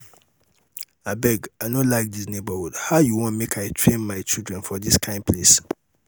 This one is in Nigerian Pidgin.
abeg i no like dis neigbourhood how you wan make i train my children for dis kyn place?